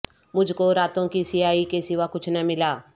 مجھ کو راتوں کی سیاہی کے سوا کچھ نہ ملا